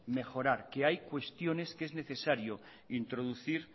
mejorar que hay cuestiones que es necesario introducir